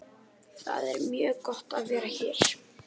Það er mjög gott að vera hér.